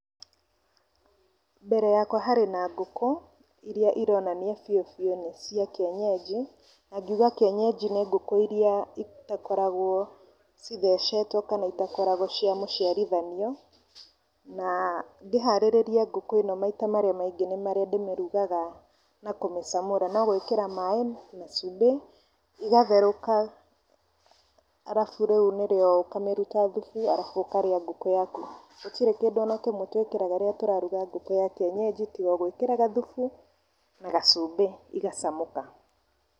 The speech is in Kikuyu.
Mbere yakwa harĩ na ngũkũ, iria ironania cio nĩ cĩa kienyeji , na ngiuga kienyeji nĩ ngũkũ iria itakoragwo cithecetwo kana itakoragwo cia mũciarithanio , na ngĩharĩrĩria ngũkũ ĩno maita marĩa maingĩ nĩ marĩa ndĩmĩrugaga na kũmĩcamũra, no kũmĩkĩra maaĩ na cumbĩ ĩgatherũka, arabu rĩu nĩrĩo ũkamĩruta thubu arabu ũkarĩa ngũkũ yaku, gũtirĩ kĩndũ ona kĩmwe twĩkĩraga rĩrĩa tũraruga ngũkũ ya kienyeji , tigo gwĩkĩra gathubu na gacumbi igacamũka.